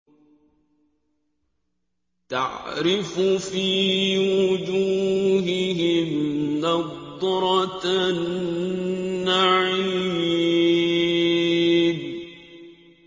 تَعْرِفُ فِي وُجُوهِهِمْ نَضْرَةَ النَّعِيمِ